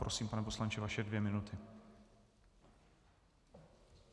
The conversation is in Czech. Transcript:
Prosím, pane poslanče, vaše dvě minuty.